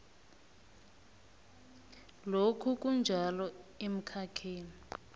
lokhu kunjalo emkhakheni